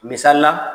Misali la